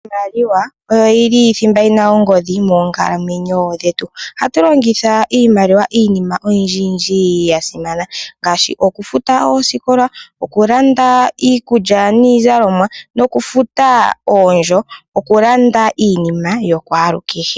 Iimaliwa oyo yili thimba yina ongodhi moonkalamwenyo dhetu. Ohatulongitha iimaliwa iinima oyindji yindji yasimana ngaashi: okufuta oosikola, okulanda iikulya niizalomwa, nokufutaa oondjo okulanda iinima yokwaalu kehe.